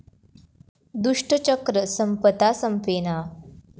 दुष्टचक्र संपता संपेना!